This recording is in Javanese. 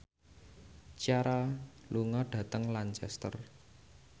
Ciara lunga dhateng Lancaster